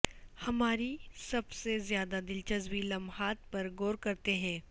ہماری سب سے زیادہ دلچسپ لمحات پر غور کرتے ہیں